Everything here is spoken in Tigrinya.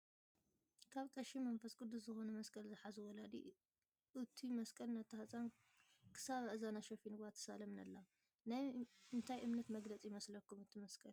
ካብ ቀሺ መንፈስ ቅዱስ ዝኮኑ መስቀል ዝሓዙ ወላዲ እቱይ ምስቀል ነታ ህፃን ክሳብ ኣእዛና ሸፊንዋን ትሳለምን ኣላ። ናይ እንታይ እምነት ምግለፂ ይመስለኩም እቱይ መስቀል ?